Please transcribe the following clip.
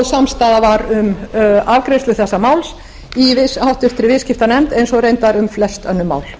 samstaða var um afgreiðslu þessa máls í háttvirtri viðskiptanefnd eins og reyndar um flest önnur mál